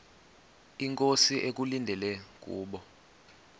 inkosi ekulindele kubo